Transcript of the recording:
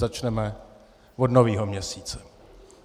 Začneme od nového měsíce.